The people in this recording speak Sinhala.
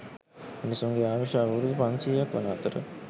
මිනිසුන්ගේ ආයුෂ අවුරුදු පන්සියයක් වන අතර